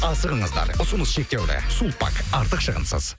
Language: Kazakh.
асығыңыздар ұсыныс шектеулі сулпак артық шығынсыз